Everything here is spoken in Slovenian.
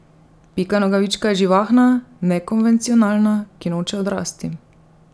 Pika Nogavička je živahna, nekonvencionalna, ki noče odrasti.